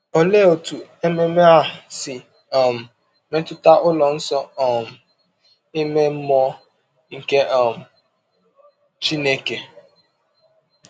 Olee otú ememe a si um metụta ụlọ nsọ um ime mmụọ nke um Chineke?